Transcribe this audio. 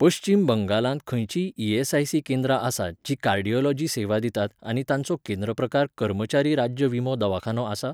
पश्चीम बंगालांत खंयचींय ईएसआयसी केंद्रां आसात जीं कार्डियोलोजी सेवा दितात आनी तांचो केंद्र प्रकार कर्मचारी राज्य विमो दवाखानो आसा?